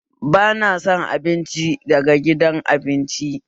Ba na son abinci daga gidan abinci